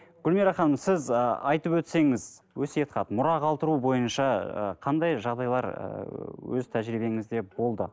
гүлмира ханым сіз ы айтып өтсеңіз өсиет хат мұра қалдыру бойынша ы қандай жағдайлар ыыы өз тәжірибеңізде болды